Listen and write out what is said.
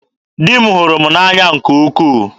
Di m hụrụ m n'anya nke ukwuu.